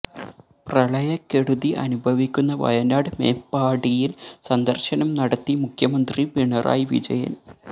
പ്രളയക്കെടുതി അനുഭവിക്കുന്ന വയനാട് മേപ്പാടിയിൽ സന്ദർശനം നടത്തി മുഖ്യമന്ത്രി പിണറായി വിജയൻ